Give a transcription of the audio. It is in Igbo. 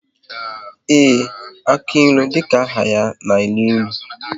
Ee, aka ilu dịka aha ya na enu ilu